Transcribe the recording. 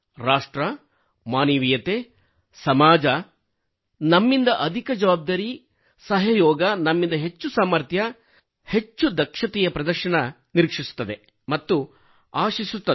ರಾಷ್ಟ್ರ ಮಾನವೀಯತೆ ಸಮಾಜ ನಮ್ಮಿಂದ ಅಧಿಕ ಜವಾಬ್ದಾರಿ ಸಹಯೋಗ ನಮ್ಮಿಂದ ಹೆಚ್ಚು ಸಾಮಥ್ರ್ಯ ನಮ್ಮಿಂದ ಹೆಚ್ಚು ದಕ್ಷತೆಯ ಪ್ರದರ್ಶನ ನಿರೀಕ್ಷಿಸುತ್ತದೆ ಮತ್ತು ಆಶಿಸುತ್ತದೆ